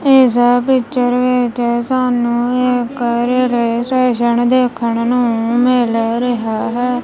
ਇਸ ਪਿਕਚਰ ਵਿੱਚ ਸਾਨੂੰ ਇਕ ਰੇਲਵੇ ਸਟੇਸ਼ਨ ਦੇਖਣ ਨੂੰ ਮਿਲ ਰਿਹਾ ਹੈ।